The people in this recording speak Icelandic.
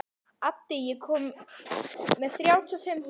Addi, ég kom með þrjátíu og fimm húfur!